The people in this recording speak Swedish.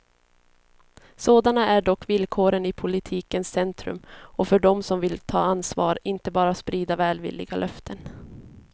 Sådana är dock villkoren i politikens centrum och för dem som vill ta ansvar, inte bara sprida välvilliga löften.